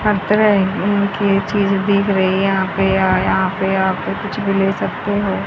हर तरह उम्म की चीज दिख रही है यहां पे या यहां पे आप कुछ भी ले सकते हो।